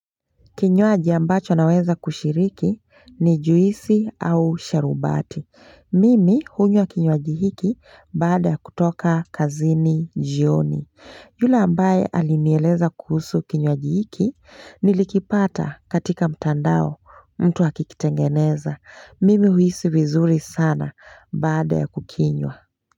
Kinywaji ambacho ninaweza kushiriki ni juisi au sharubati. Mimi hunywa kinywaji hiki baada ya kutoka kazini jioni. Yule ambaye alinieleza kuhusu kinywaji hiki nilikipata katika mtandao mtu akikitengeneza. Mimi huhisi vizuri sana, baada ya kukinywa.